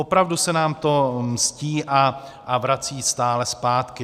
Opravdu se nám to mstí a vrací stále zpátky.